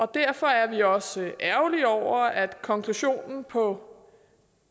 derfor er vi også ærgerlige over at konklusionen på